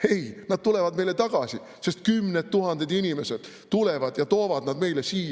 Ei, nad tulevad meile tagasi, sest kümned tuhanded inimesed tulevad ja toovad neid meile siia.